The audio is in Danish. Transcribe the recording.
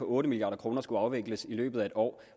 otte milliard kroner skulle afvikles i løbet af et år